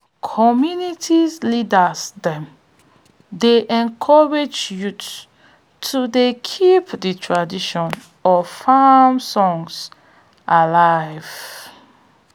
community leaders dem dey encourage youth to dey keep de tradition of farm songs alive